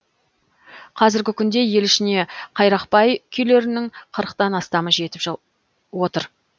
қазіргі күнде ел ішіне қайрақбай күйлерінің қырықтан астамы жетіп отыр